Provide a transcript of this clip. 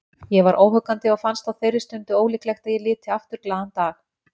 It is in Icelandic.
Ég var óhuggandi og fannst á þeirri stundu ólíklegt að ég liti aftur glaðan dag.